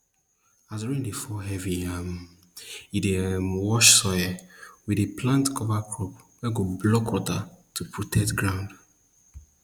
as rain fall fall heavy um e dey um wash soil we dey plant cover crops wey go block water to protect ground